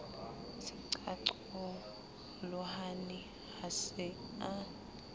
se qaqolohane ha se a